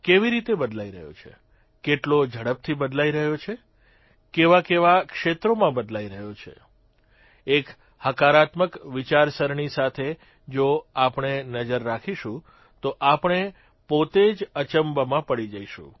કેવી રીતે બદલાઇ રહ્યો છે કેટલો ઝડપથી બદલાઇ રહ્યો છે કેવાકેવા ક્ષેત્રોમાં બદલાઇ રહ્યો છે એક હકારાત્મક વિચારસરણી સાથે જો આપણે નજર રાખીશું તો આપણે પોતે જ અચંબામાં પડી જઇશું